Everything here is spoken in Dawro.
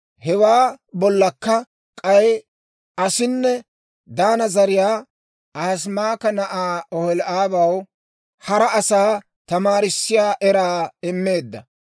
Hewaa bollakka k'ay aasinne Daana zariyaa Ahisamaaka na'aa Oholi'aabaw, hara asaa tamaarissiyaa eraa immeedda.